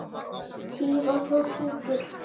Tífall og Tútur